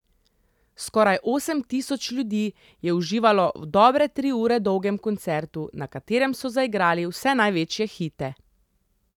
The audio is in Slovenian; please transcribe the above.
Skoraj osem tisoč ljudi je uživalo v dobre tri ure dolgem koncertu, na katerem so zaigrali vse največje hite.